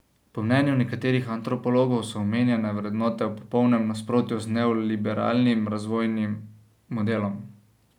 Po mnenju nekaterih antropologov so omenjene vrednote v popolnem nasprotju z neoliberalnim razvojnim modelom.